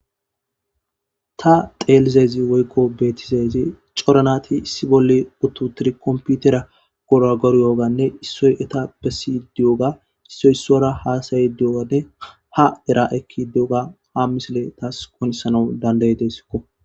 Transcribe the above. Ta teelizezi woykko beetizeezi coranati issi bolle uttutiri komputera gora goriyoganne issoy eta bessi diyoga issoy issora haasaye diyogade ha dera ekki de7oga ha misile taas konisanau dandayi desikko.